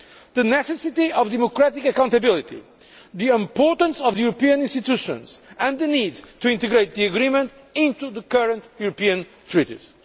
the necessity of democratic accountability, the importance of the European institutions and the need to integrate the agreement into the current European treaties.